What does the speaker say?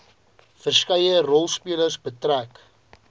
verskeie rolspelers betrek